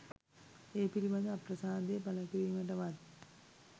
ඒ පිළිබඳ අප්‍රසාදය පළකිරීමටවත්